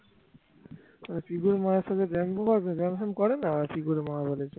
পিকুর মায়ের সাথে কি করে না ওই পিকুর মাই বলেছে